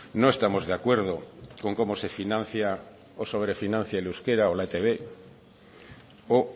no estamos de acuerdo con cómo se financia o sobrefinancia el euskera o la etb o